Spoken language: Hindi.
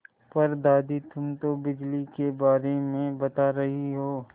पर दादी तुम तो बिजली के बारे में बता रही हो